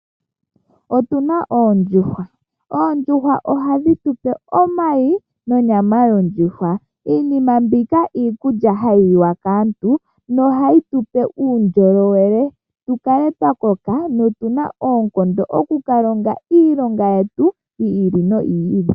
Otu na oondjuhwa. Oondjuhwa ohadhi tu pe omayi nonyama yondjuhwa. Iinima mbika iikulya hayi kiwa kaantu nohayi tu pe uundjolowele, tu kale twa koka notu na oonkondo oku ka longa iilonga yetu yi ili noyi ili.